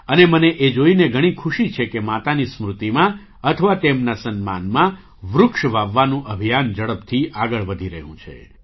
અને મને એ જોઈને ઘણી ખુશી છે કે માતાની સ્મૃતિમાં અથવા તેમના સન્માનમાં વૃક્ષ વાવવાનું અભિયાન ઝડપથી આગળ વધી રહ્યું છે